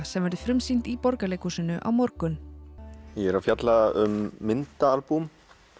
sem verður frumsýnt í Borgarleikhúsinu á morgun ég er að fjalla um myndaalbúm